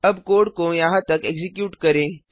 अब कोड को यहाँ तक एक्जीक्यूट करें